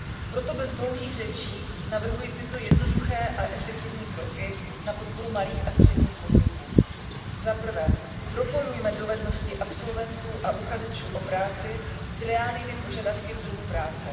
Proto bez dlouhých řečí navrhuji tyto jednoduché a efektivní kroky na podporu malých a středních podniků zaprvé, propojujme dovednosti absolventů a uchazečů o práci s reálnými požadavky trhu práce.